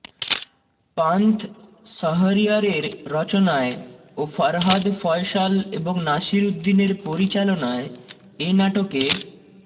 পান্থ শাহরিয়ারের রচনায় ও ফরহাদ ফয়সাল এবং নাসির উদ্দিনের পরিচালনায় এ নাটকে